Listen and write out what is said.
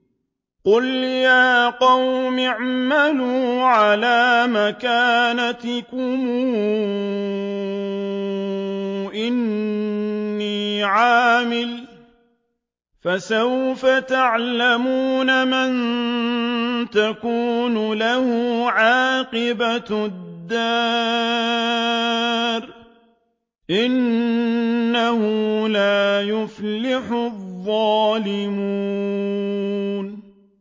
قُلْ يَا قَوْمِ اعْمَلُوا عَلَىٰ مَكَانَتِكُمْ إِنِّي عَامِلٌ ۖ فَسَوْفَ تَعْلَمُونَ مَن تَكُونُ لَهُ عَاقِبَةُ الدَّارِ ۗ إِنَّهُ لَا يُفْلِحُ الظَّالِمُونَ